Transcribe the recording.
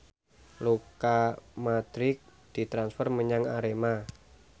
Luka Modric ditransfer menyang Arema